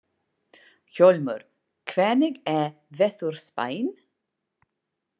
Hljómur, hvernig er veðurspáin?